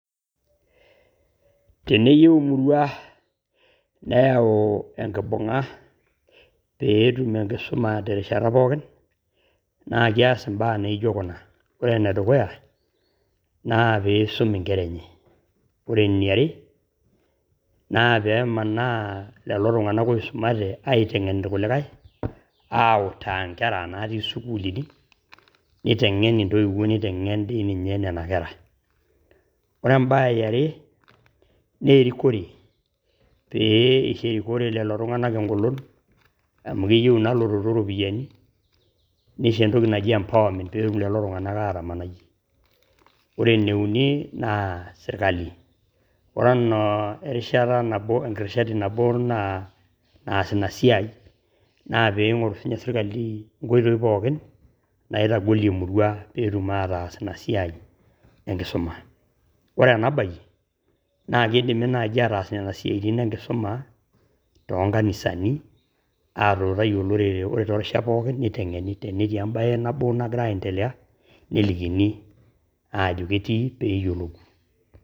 Teneyeu murua neyau enkibunga peetum enkisuma te rishata pookin naa keas embaa naijo kuna, ore ne dukuya peesom inkera enye naa pemanaa lelo tunganak oisomate aitengen ilkulikai autaa inkera natii sukulini neitengen ntoiwo neitengen dei ninye nenia kera ,ore ,embaye e are nee erikore pee eisho rikore lelo tungana engolon amu keyeu naa lototo iropiyiani neisho entoki naji empowerment peetumoki lelo tunganak aatamanai ,ore ne uni naa esirikali ore ana rishata nabo naa naas ina siaai naa peingorr si ninye serikali enkoitoi pookin naitogolie murua peetum ataasa ina siaai enkisoma, ore ena baye naa keidimi ataas nenia siaatin enkisuma te nkanisani aatuutai olorore too rishat pookin neitengeni tenetii embaye nabo nagira aiendelea nelikini aajo ketii peeyolou.